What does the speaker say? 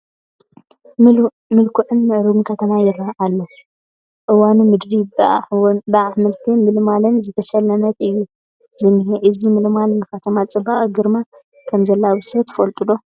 ምልኩዕን ምዕርጉን ከተማ ይርአ ኣሎ፡፡ እዋኑ ምድሪ ብኣሕምልትን ልምላመን ዝተሸለመትሉ እዩ ዝኒሀ፡፡ እዚ ልምላመ ንከተማ ፅባቐን ግርማን ከምዘላብሶ ትፈልጡ ዶ?